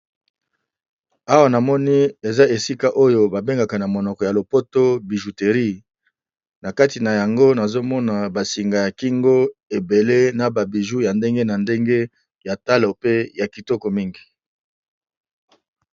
Awa na moni eza esika oyo babengaka na monoko ya lopoto bijouterie , na kati na yango nazomona basinga ya kingo ebele na ba bijoux ya ndenge na ndenge ya talo pe ya kitoko mingi.